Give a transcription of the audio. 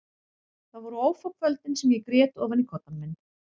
Þau voru ófá kvöldin sem ég grét ofan í koddann minn.